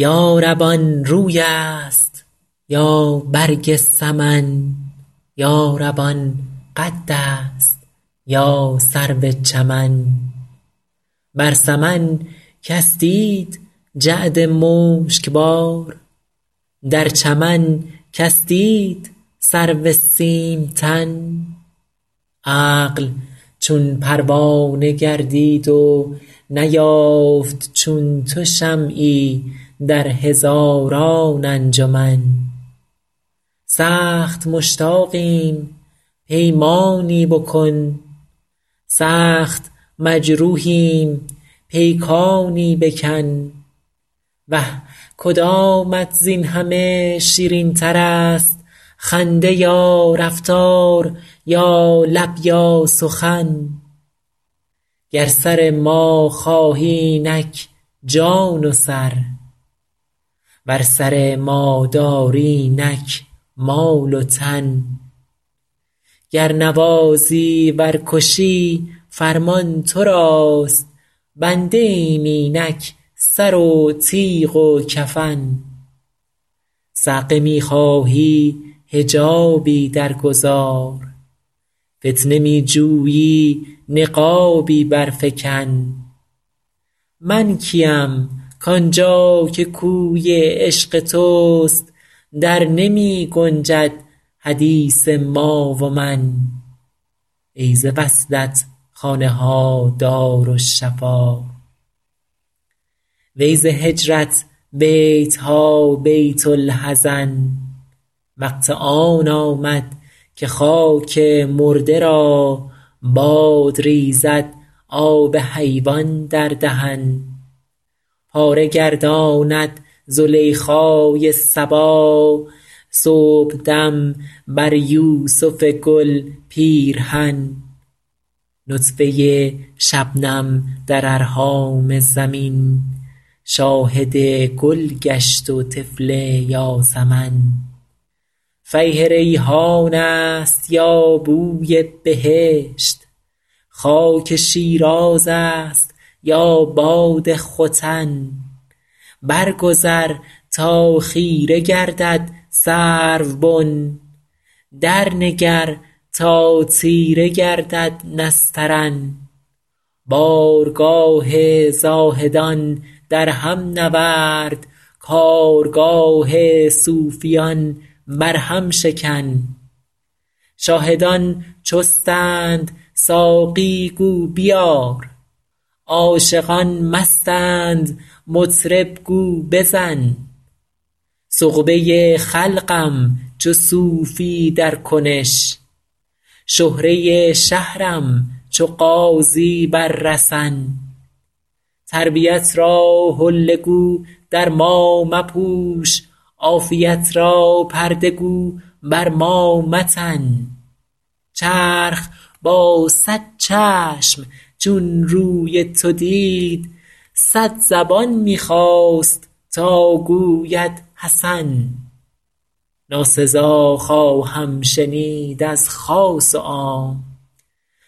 یا رب آن روی است یا برگ سمن یا رب آن قد است یا سرو چمن بر سمن کس دید جعد مشک بار در چمن کس دید سرو سیم تن عقل چون پروانه گردید و نیافت چون تو شمعی در هزاران انجمن سخت مشتاقیم پیمانی بکن سخت مجروحیم پیکانی بکن وه کدامت زین همه شیرین تر است خنده یا رفتار یا لب یا سخن گر سر ما خواهی اینک جان و سر ور سر ما داری اینک مال و تن گر نوازی ور کشی فرمان تو راست بنده ایم اینک سر و تیغ و کفن صعقه می خواهی حجابی در گذار فتنه می جویی نقابی بر فکن من کیم کآن جا که کوی عشق توست در نمی گنجد حدیث ما و من ای ز وصلت خانه ها دارالشفا وی ز هجرت بیت ها بیت الحزن وقت آن آمد که خاک مرده را باد ریزد آب حیوان در دهن پاره گرداند زلیخای صبا صبحدم بر یوسف گل پیرهن نطفه شبنم در ارحام زمین شاهد گل گشت و طفل یاسمن فیح ریحان است یا بوی بهشت خاک شیراز است یا باد ختن بر گذر تا خیره گردد سروبن در نگر تا تیره گردد نسترن بارگاه زاهدان در هم نورد کارگاه صوفیان بر هم شکن شاهدان چستند ساقی گو بیار عاشقان مستند مطرب گو بزن سغبه خلقم چو صوفی در کنش شهره شهرم چو غازی بر رسن تربیت را حله گو در ما مپوش عافیت را پرده گو بر ما متن چرخ با صد چشم چون روی تو دید صد زبان می خواست تا گوید حسن ناسزا خواهم شنید از خاص و عام